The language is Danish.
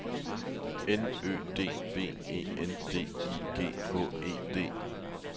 N Ø D V E N D I G H E D